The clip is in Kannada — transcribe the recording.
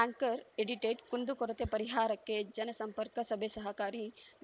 ಆಂಕರ್‌ ಎಡಿಟೆಡ್‌ ಕುಂದುಕೊರತೆ ಪರಿಹಾರಕ್ಕೆ ಜನಸಂಪರ್ಕ ಸಭೆ ಸಹಕಾರಿ